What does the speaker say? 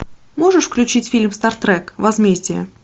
можешь включить фильм стартрек возмездие